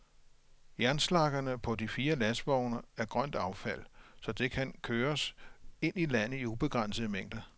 Jernslaggerne på de fire lastvogne er grønt affald, så det kan køres ind i landet i ubegrænsede mængder.